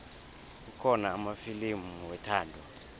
kukhona amafilimu wethando